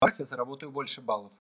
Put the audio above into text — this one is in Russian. так я заработаю больше баллов